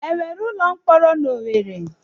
E nwere ụlọ mkpọrọ n'Owere?